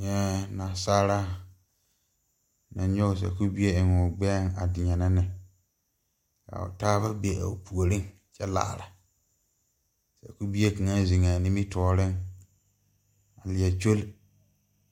Nyɛɛ naasaalaa naŋ nyoge sakubie a eŋoo gbɛɛŋ a deɛnɛ ne ka o taaba be a o puoriŋ kyɛ laara bie kaŋa zeŋaa nimitooreŋ lieɛ kyol